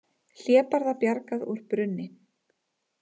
Hlébarða bjargað úr brunni